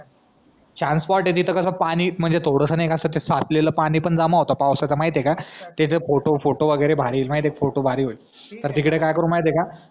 छान स्पॉट ए तिकडं कास पाणी म्हणजे थोडास कास ते साचलेला पाणी पण जमा होता पावसाचं माहिती ए का फोटो फोटो वगैरे भारी होईल परत तिकडे काय करू माहिती ए का